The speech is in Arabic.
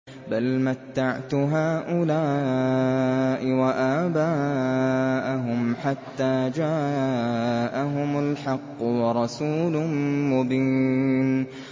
بَلْ مَتَّعْتُ هَٰؤُلَاءِ وَآبَاءَهُمْ حَتَّىٰ جَاءَهُمُ الْحَقُّ وَرَسُولٌ مُّبِينٌ